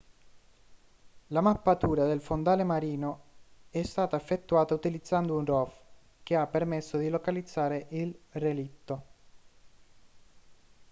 la mappatura del fondale marino è stata effettuata utilizzando un rov che ha permesso di localizzare il relitto